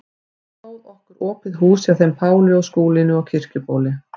Þá stóð okkur opið hús hjá þeim Páli og Skúlínu á Kirkjubóli.